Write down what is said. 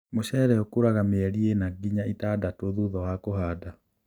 Mũcere ũkũraga mĩeli ĩna nginya ĩtandatũ thutha wa kũhanda